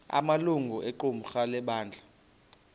amalungu equmrhu lebandla